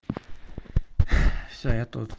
всё я тут